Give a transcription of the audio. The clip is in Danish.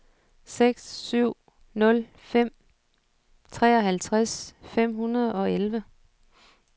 seks syv nul fem treoghalvtreds fem hundrede og elleve